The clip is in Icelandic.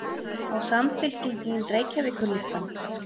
Á Samfylkingin Reykjavíkurlistann?